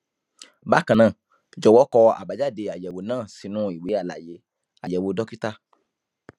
bákan náà jọwọ kọ àbájáde àyẹwò náà sínú ìwé àlàyé àyẹwò dókítà